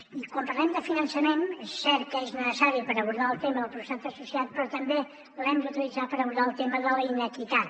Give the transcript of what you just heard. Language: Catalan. i quan parlem de finançament és cert que és necessari per abordar el tema del professorat associat però també l’hem d’utilitzar per abordar el tema de la inequitat